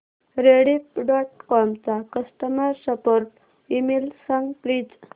Rediff dot com चा customer support email सांग please